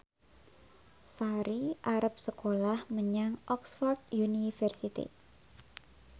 Sari arep sekolah menyang Oxford university